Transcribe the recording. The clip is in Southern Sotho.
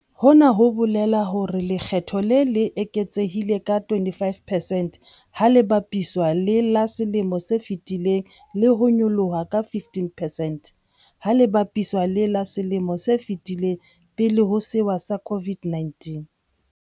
Hona ho bolela hore lekge tho le le eketsehile ka 25 percent ha le bapiswa le la selemong se fetileng le ho nyolloha ka 15 percent ha le bapiswa le la selemong se fetileng pele ho sewa sa COVID-19.